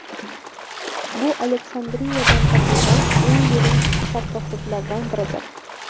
Bu Aleksandriyadan topilgan eng yirik sarkofaglardan biridir.